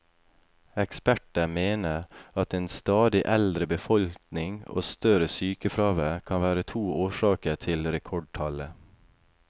Eksperter mener at en stadig eldre befolkning og større sykefravær kan være to årsaker til rekordtallet.